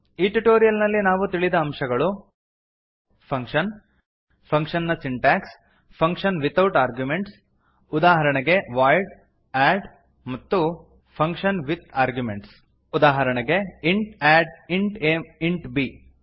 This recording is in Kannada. ಈ ಟ್ಯುಟೋರಿಯಲ್ ನಲ್ಲಿ ನಾವು ತಿಳಿದ ಅಂಶಗಳು ಫಂಕ್ಷನ್ ಫಂಕ್ಷನ್ ನ ಸಿಂಟಾಕ್ಸ್ ಫಂಕ್ಷನ್ ವಿತೌಟ್ ಆರ್ಗ್ಯುಮೆಂಟ್ಸ್ ಉದಾಹರಣೆಗೆ ವಾಯ್ಡ್ ಅದ್ ಮತ್ತು ಫಂಕ್ಷನ್ ವಿತ್ ಆರ್ಗ್ಯುಮೆಂಟ್ಸ್ ಉದಾಹರಣೆಗೆ int add int a int B